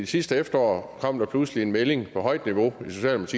sidste efterår kom der pludselig en melding fra højt niveau